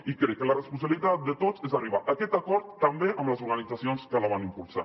i crec que la responsabilitat de tots és arribar a aquest acord també amb les organitzacions que la van impulsar